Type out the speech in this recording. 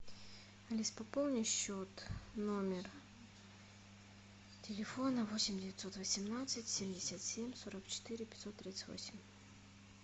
алис пополни счет номер телефона восемь девятьсот восемнадцать семьдесят семь сорок четыре пятьсот тридцать восемь